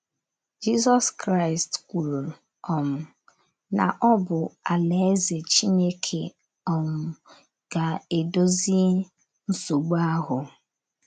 Jizọs Kraịst kwuru um na ọ bụ Alaeze Chineke um ga - edozi nsogbu ahụ.